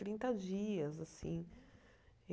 Trinta dias, assim.